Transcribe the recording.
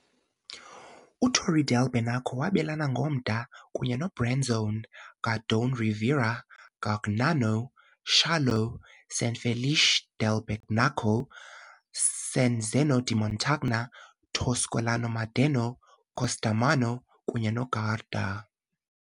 UTorri del Benaco wabelana ngomda kunye noBrenzone, Gardone Riviera, Gargnano, Salò, San Felice del Benaco, San Zeno di Montagna, Toscolano-Maderno, Costermano, kunye noGarda.